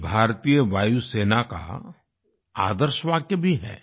ये भारतीय वायुसेना का आदर्श वाक्य भी है